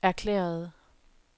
erklærede